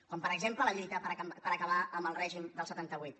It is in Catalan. com per exemple la lluita per acabar amb el règim del setanta vuit